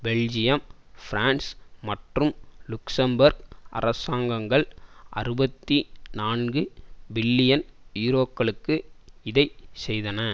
Belgium France மற்றும் Luxembourg அரசாங்கங்கள் அறுபத்தி நான்கு பில்லியன் யூரோக்களுக்கு இதை செய்தன